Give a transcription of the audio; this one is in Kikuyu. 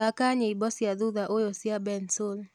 thaka nyĩmbo cĩa thũthaũyũ cĩa bensoul